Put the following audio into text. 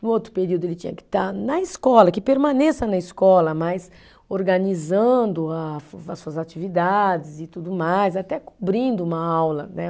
No outro período ele tinha que estar na escola, que permaneça na escola, mas organizando a as suas atividades e tudo mais, até cobrindo uma aula, né?